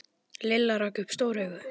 Lilli rak upp stór augu.